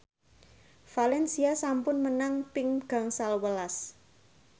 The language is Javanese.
valencia sampun menang ping gangsal welas